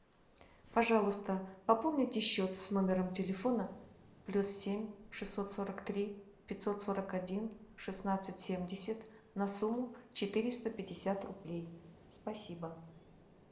пожалуйста пополните счет с номером телефона плюс семь шестьсот сорок три пятьсот сорок один шестнадцать семьдесят на сумму четыреста пятьдесят рублей спасибо